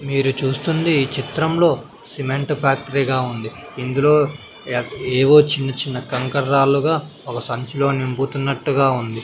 మీరు చూస్తుంది ఈ చిత్రంలో సిమెంట్ ఫ్యాక్టరీగా ఉంది ఇందులో ఎక్ ఏవో చిన్న చిన్న కంకర్ రాళ్లుగా ఒక సంచిలో నింపుతున్నట్టుగా ఉంది.